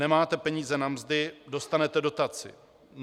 Nemáte peníze na mzdy - dostanete dotaci.